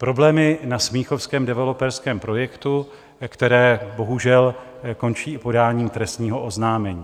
Problémy na smíchovském developerském projektu, které bohužel končí podáním trestního oznámení.